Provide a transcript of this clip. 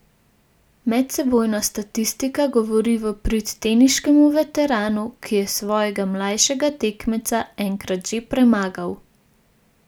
Medsebojna statistika govori v prid teniškemu veteranu, ki je svojega mlajšega tekmeca enkrat že premagal.